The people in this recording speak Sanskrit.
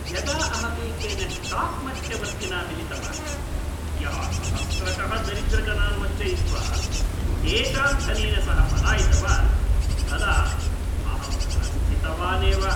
यदा अहमेकेन स्टाक् मध्यवर्तिना मिलितवान्, यः सहस्रशः दरिद्रजनान् वञ्चयित्वा तेषां धनेन सह पलायितवान्, तदा अहं प्रस्थितवानेव।